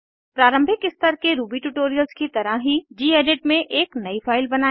प्रारंभिक स्तर के रूबी ट्यूटोरियल्स की तरह ही गेडिट में एक नयी फाइल बनायें